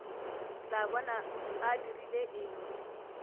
tla bona a dirile eng